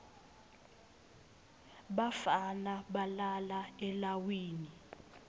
bafana balala elawini